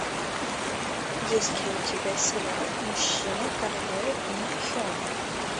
есть ли у тебя сериал мужчина королевы ин хен